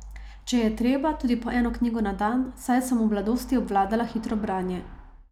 Če je treba, tudi po eno knjigo na dan, saj sem v mladosti obvladala hitro branje.